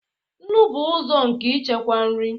nnu bụ ụzọ nke ichekwa nri